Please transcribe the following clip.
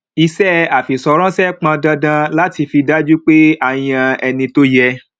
iṣẹ àfìṣọraṣe pọn dandan láti fi dájú pé a yàn ẹni tó yẹ